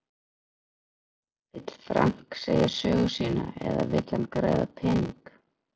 Vill Frank segja sögu sína eða vill hann græða pening?